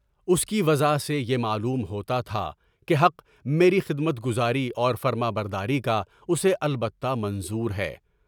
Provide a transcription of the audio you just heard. اس کی وضع سے یہ معلوم ہوتا تھا کہ حق میری خدمت گزاری اور فرمانبرداری کا اسے البتہ منظور ہے۔